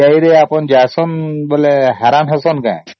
ତେବେ SBI ରେ ଯାଅ ଯେତେବେଳ ହଇରାଣ ହୁଅ କି